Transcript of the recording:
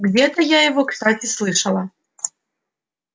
где-то я его кстати слышала